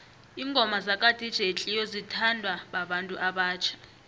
ingoma zaka dj cleo zithanwa babantu abatjha